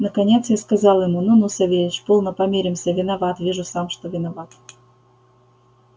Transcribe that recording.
наконец я сказал ему ну ну савельич полно помиримся виноват вижу сам что виноват